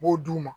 U b'o d'u ma